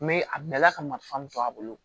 a bilala ka marifa to a bolo